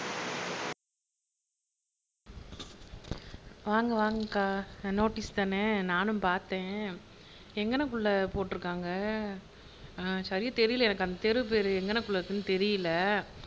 வாங்க வாங்கக்கா நோட்டீஸ் தானே நானும் பாத்தேன் எங்கனக்குள்ள போட்ருக்காங்க சரியா தெரியல அந்த தெரு பேரு எங்கனக்குள்ள இருக்குன்னு தெரியல